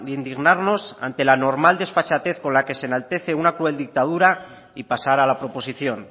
indignarnos ante la normal desfachatez con la que se enaltece una cruel dictadura y pasar a la proposición